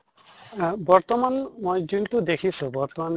আহ বৰ্তমান মই যোনটো দেখিছো বৰ্তমান